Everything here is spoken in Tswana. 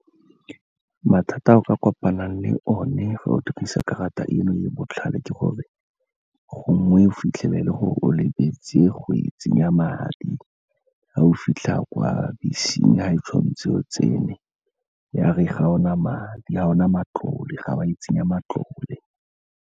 Mathata a o ka kopanang le o ne fa o dirisa karata eno ya botlhale ke gore, gongwe o fitlhelele gore o lebetse go e tsenya madi. Ga o fitlha kwa beseng ga e tshwantse o tsene, ya re ga ona madi, ga o na matlole, ga wa e tsenya matlole.